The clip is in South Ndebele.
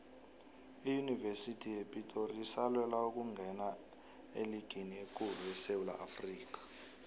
iyunivesithi yepitori isalwela ukungena eligini ekulu esewula afrikha